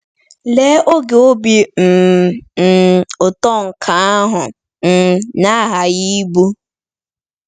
Lee oge obi um um ụtọ nke ahụ um na-aghaghị ịbụ!